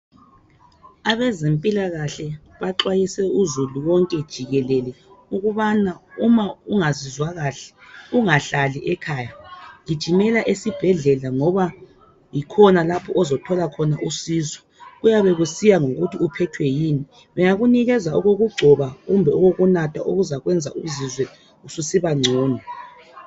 Abezempilakahle baxwayise uzulu wonke jikelele ukuba uma ungazizwa kahle ungahlali ekhaya gijimela esibhedlela ngoba yikhona lapho ozothola khona usizo, kuyabe kusiya ngokuthi uphethwe yini bengakunikeza okokugcoba kumbe okokunatha okuzakwenza uzizwe ususiba ngcono.